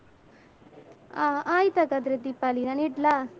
ಆ ಆಯ್ತ್ ಹಾಗಾದ್ರೆ ದೀಪಾಲಿ ನಾನ್ ಇಡ್ಲಾ.